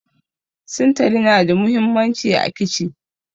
Sintali na da muhimmanci a kici